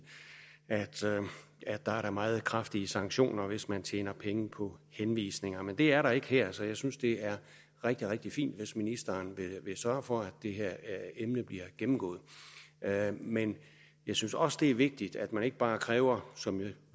at der er meget kraftige sanktioner hvis man tjener penge på henvisninger men det er der ikke her så jeg synes det er rigtig rigtig fint hvis ministeren vil sørge for at det her emne bliver gennemgået men jeg synes også det er vigtigt at man ikke bare kræver som jeg